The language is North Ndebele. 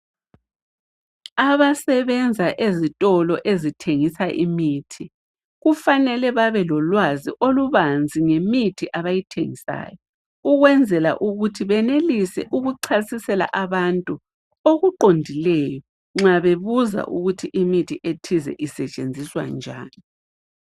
Abasebenza ezitolo ezithengisa imithi, kufanele babe lolwazi olubanzi ngemithi abayithengisayo ukwenzela ukuthi benelise ukuchasisela abantu okuqondileyo nxa bebuza ukuthi imithi ethize isetshenziswa njani.